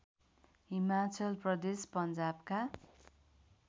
Himachal Pradesh पन्जाबका